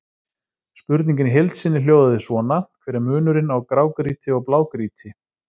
Spurningin í heild sinni hljóðaði svona: Hver er munurinn á grágrýti og blágrýti?